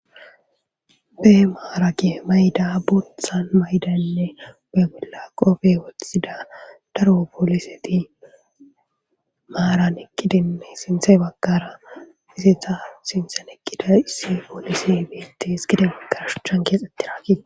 be maarage mayda bothan maydanne beygolla qofe wotththida daro pooliseti maaran eqkidinne sinthe bakara isetha sinten ekkida issi poolisi biitti his gide bakara shuchchan keexetti raakidi